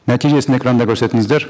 нәтижесін экранда көрсетіңіздер